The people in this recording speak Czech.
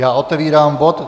Já otevírám bod